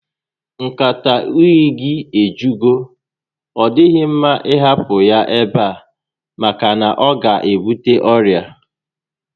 Nkata únyí gị a ejugo, ọ dịghị mma ị hapụ ya ebe a maka na ọ ga ebute ọrịa